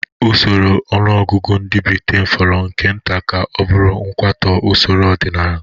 Usoro ọnụọgụgụ ndị Britain fọrọ nke nta ka ọ bụrụ kwatuo usoro ọdịnala